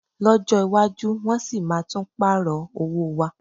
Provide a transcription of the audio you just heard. Lọ́jọ́ iwájú, wọ́n sì máa tún pààrọ̀ owó wa